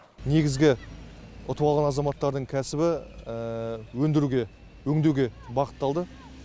негізгі ұтып алған азаматтардың кәсібі өндіруге өңдеуге бағытталды